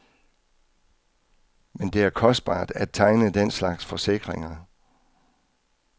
Men det er kostbart at tegne den slags forsikringer.